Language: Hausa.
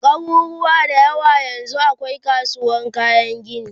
a garuruwa da yawa yanzun akwai kasuwan kayan gini